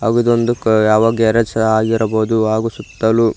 ಇದೊಂದು ಕ ಯಾವ ಗ್ಯಾರೇಜ್ ಸಹ ಆಗಿರಬಹುದು ಹಾಗೂ ಸುತ್ತಲೂ.